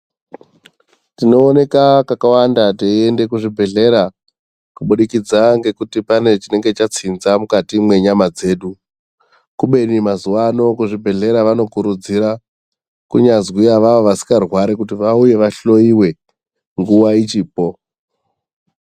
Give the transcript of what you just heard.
Tinooneka kakawanda teienda kuchibhedhleya kubudikidza ngekuti pane chinenge chatsinza mukati mwenyama dzedu kubeni mazuwaano vanokurudzira kunyazwi avavo vasikarwari kuti vauye vahloiwe nguva ichipo.